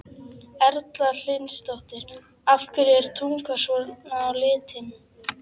Erla Hlynsdóttir: Af hverju er tungan svona á litinn?